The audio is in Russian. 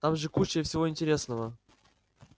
там же куча всего интересного